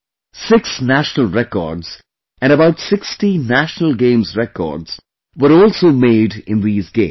Six National Records and about 60 National Games Records were also made in these games